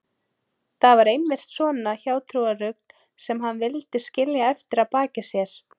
Það var einmitt svona hjátrúarrugl sem hann vildi skilja eftir að baki sér.